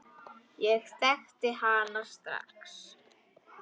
Ég þekkti hana strax.